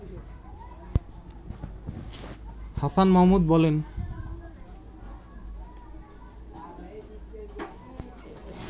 হাছান মাহমুদ বলেন